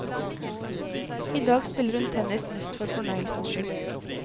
I dag spiller hun tennis mest for fornøyelsens skyld.